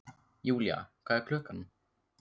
Julia, hvað er klukkan?